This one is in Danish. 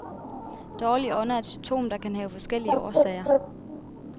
Dårlig ånde er et symptom, der kan have forskellige årsager.